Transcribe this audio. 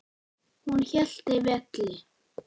Hún hélt velli.